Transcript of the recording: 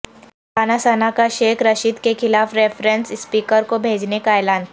رانا ثنا کا شیخ رشید کیخلاف reference speaker کو بھیجنے کا اعلان